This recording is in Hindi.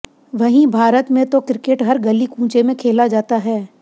वहीं भारत में तो क्रिकेट हर गली कूंचे में खेला जाता है